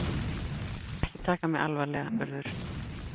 Æ, ekki taka mig alvarlega, Urður.